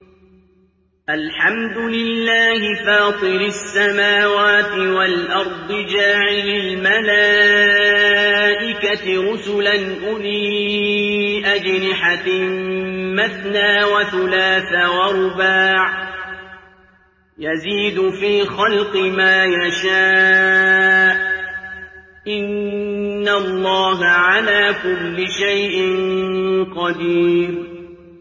الْحَمْدُ لِلَّهِ فَاطِرِ السَّمَاوَاتِ وَالْأَرْضِ جَاعِلِ الْمَلَائِكَةِ رُسُلًا أُولِي أَجْنِحَةٍ مَّثْنَىٰ وَثُلَاثَ وَرُبَاعَ ۚ يَزِيدُ فِي الْخَلْقِ مَا يَشَاءُ ۚ إِنَّ اللَّهَ عَلَىٰ كُلِّ شَيْءٍ قَدِيرٌ